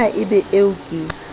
na e be eo ke